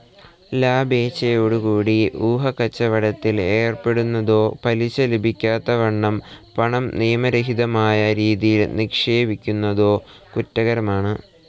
ലാഭേച്ഛയോടുകൂടി ഊഹക്കച്ചവടത്തിൽ ഏർപ്പെടുന്നതോ പലിശ ലഭിക്കത്തക്കവണ്ണം പണം നിയമരഹിതമായ രീതിയിൽ നിക്ഷേപിക്കുന്നതോ കുറ്റകരമാണ്.